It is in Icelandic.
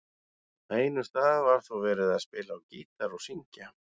Á einum stað var þó verið að spila á gítar og syngja.